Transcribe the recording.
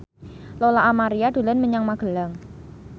Lola Amaria dolan menyang Magelang